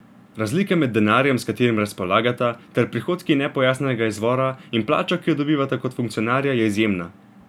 Razlika med denarjem, s katerim razpolagata, ter prihodki nepojasnjenega izvora in plačo, ki jo dobivata kot funkcionarja, je izjemna.